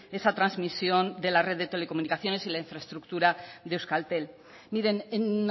esa transmisión de la red de tele comunicaciones y la infraestructura de euskaltel miren en